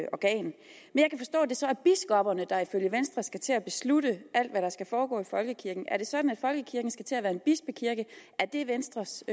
det så er biskopperne der ifølge venstre skal til at beslutte alt hvad der skal foregå i folkekirken er det sådan at folkekirken skal til at være en bispekirke er det venstres